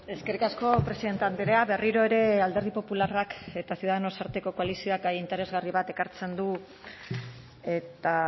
eskerrik asko presidente andrea berriro ere alderdi popularrak eta ciudadanos arteko koalizioak gai interesgarri bat ekartzen du eta